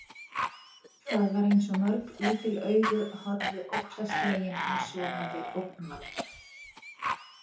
Það var eins og mörg lítil augu horfðu óttaslegin á sofandi ógnvald.